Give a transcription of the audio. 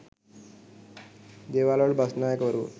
දේවාලවල බස්නායකවරුත්